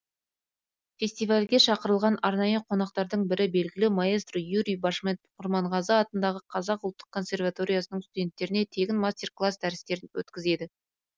фестивальге шақырылған арнайы қонақтардың бірі белгілі маэстро юрий башмет құрманғазы атындағы қазақ ұлттық консерваториясының студенттеріне тегін мастер класс дәрістерін өткізеді